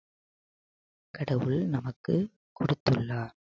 கடவுள் நமக்கு கொடுத்துள்ளார்